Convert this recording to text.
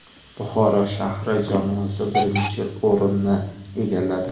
Buxoro shahri jamoasi birinchi o‘rinni egalladi.